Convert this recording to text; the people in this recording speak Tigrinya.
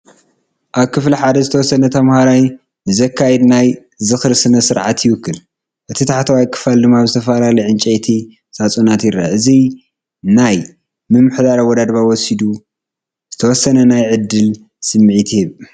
ኣብ ክፍሊ ሓደ ዝተወሰነ ተማሃራይ ንዝካየድ ናይ ዝኽሪ ስነ-ስርዓት ይውክል። ፡ እቲ ታሕተዋይ ክፋል ድማ ኣብ ዝተፈላለየ ዕንጨይቲ ሳጹናት ይርአ። እዚ ነቲ ናይ ምሕደራ ኣወዳድባ ወሲዱ ዝተወሰነ ናይ ዕድል ስምዒት ይህብ።